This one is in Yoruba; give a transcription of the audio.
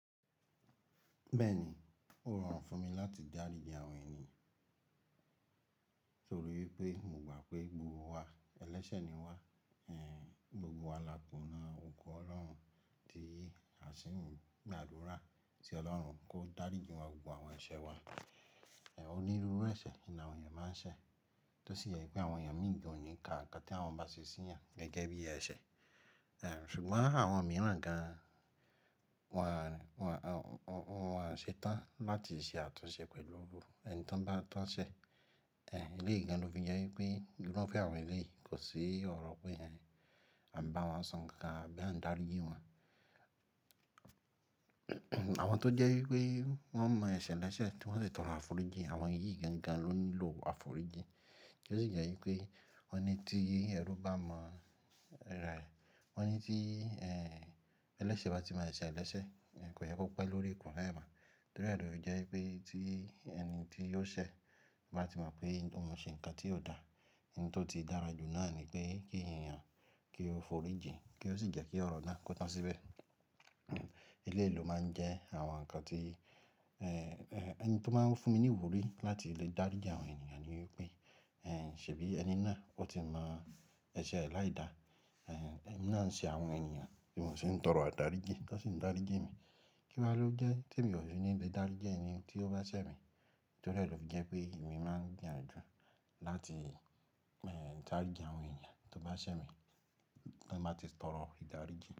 Bẹ́ẹ̀ ni, ó rọrùn fún mi láti dáríji àwọn ènìyàn torí pé mo gba pé gbogbo wa ẹlẹ́sẹ̀ ni wá, gbogbo wa la tona òko Ọlọ́run, tí a sì ń gbàdúrà sí Ọlọ́run kó dáríji wa gbogbo àwọn ẹ̀ṣẹ̀ wa. Onírúurú ẹ̀ṣẹ̀ ni àwọn ènìyàn máa ń ṣẹ̀, tó sì yẹ pé àwọn ènìyàn mìí gan ò ní ka nǹkan tí àwọn bá ṣe sí yan gẹ́gẹ́ bí ẹ̀ṣẹ̀. Ṣùgbọ́n àwọn mìíràn gan, wọn a ṣetán láti ṣe àtúnṣe pẹ̀lú ru ẹni tí wọ́n bá tán ṣẹ̀. Eléyi gan ló fi jẹ́ wípé irufe awọn Eléèyì kò sí ọ̀rọ̀ pé ehn, a ń bá wọn sọ nǹkan àbí à ń dáríji wọn. Àwọn tó jẹ́ wípé wọ́n mọ ẹ̀ṣẹ̀ lẹ́sẹ̀ tí wọ́n sì toro áfòríji, àwọn yìí gangan ló ńi lò afòríji. Tí ó sì jẹ́ wípé wọ́n ní tí ẹrú bá mọ ara ẹ, wọ́n ní tí ẹlẹ́sẹ̀ bá ti mọ ẹ̀ṣẹ̀ ẹlẹ́sẹ̀, kò yẹ kó pẹ́ lórí ikùnle máa. Torí ẹ lo fi jẹ́ wípé tí ẹni tí yóò ṣẹ̀ bá ti mọ̀ pé òun ṣe ǹkan tí ò dáa, ohun tó ti dára jù náà ni pé kí ènìyàn kí ó fòríji kí ó sì jẹ́ kí ọ̀rọ̀ náà kó tán síbẹ̀. Iléyi lo máa ń jẹ́ àwọn ǹkan tí ẹni tí ó máa ń fún mi ní ìwúrí láti lè dáríji àwọn ènìyàn ni wípé ṣe bí ẹni náà o ti mọ ẹ̀ṣẹ̀ aláìda, ẹmi náà ń ṣe àwọn ènìyàn tí mò ṣi ń tọrọ adáríji tó sì ń dáríji mi. Kí wa ló dé tí emi ò ṣe ní lè dáríji ẹni tí ó bá ṣẹ̀ mi? Torí ẹ ló fi jẹ́ pé èmi máa gbìyànjú láti dáríji àwọn ènìyàn tó bá ṣẹ̀ mi kí n má ti tọrọ ìdáríji.